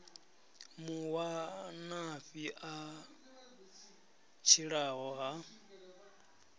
mu wanafhi a tshilaho ha